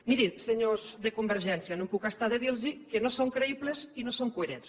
mirin senyors de convergència no em puc estar de dirlos que no són creïbles i no són coherents